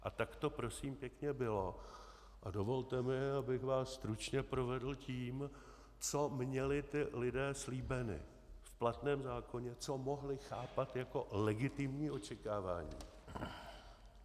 A tak to prosím pěkně bylo a dovolte mi, abych vás stručně provedl tím, co měli ti lidé slíbeno v platném zákoně, co mohli chápat jako legitimní očekávání.